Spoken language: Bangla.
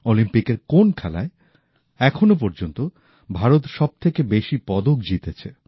অলিম্পিকের কোন খেলায় এখনও পর্যন্ত ভারত সবথেকে বেশি পদক জিতেছে